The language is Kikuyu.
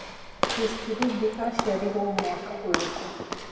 Chris Kirubi acĩarirwo mwaka ũrikũ